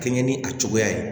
Kɛɲɛ ni a cogoya ye